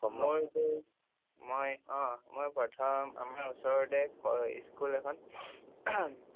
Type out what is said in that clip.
মই যে মই অহ মই প্ৰথম আমাৰ ওচৰতে school এখন